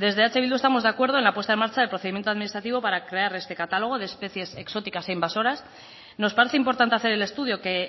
desde eh bildu estamos de acuerdo en la puesta en marcha del procedimiento administrativo para crear este catálogo de especies exóticas e invasoras nos parece importante hacer el estudio que